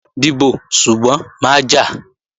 Dìbò, ṣùgbọ́n má jà!